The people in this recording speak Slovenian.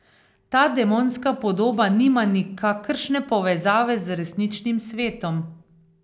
Ta demonska podoba nima nikakršne povezave z resničnim svetom.